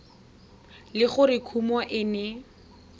le gore kumo e ne